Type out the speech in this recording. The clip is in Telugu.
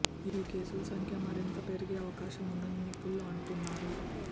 ఈ కేసుల సంఖ్య మరింత పెరిగే అవకాశం ఉందని నిపుణులు అంటున్నారు